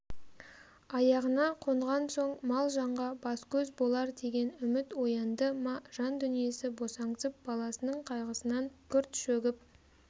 аяғына қонған соң мал-жанға бас-көз болар деген үміт оянды ма жандүниесі босаңсып баласының қайғысынан күрт шөгіп